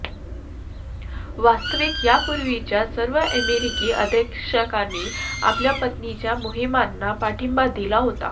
वास्तविक यापूर्वीच्या सर्व अमेरिकी अध्यक्षांनी आपल्या पत्नीच्या मोहिमांना पाठिंबा दिला होता